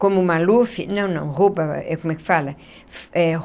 Como o Maluf... Não, não, rouba... é, como é que fala? É.